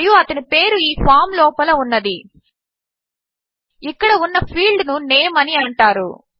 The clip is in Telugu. మరియు అతని పేరు ఈ ఫామ్ లోపల ఉన్నది ఇక్కడ ఉన్న ఫీల్డ్ ను nameఅని అంటారు